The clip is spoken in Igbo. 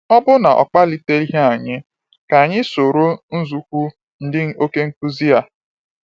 Ọ bụ na ọ kpaliteghị anyị ka- anyị soro nzoukwu ndị oké nkuzi a? a?